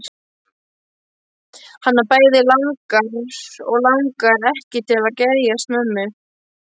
Hana bæði langar og langar ekki til að geðjast mömmu.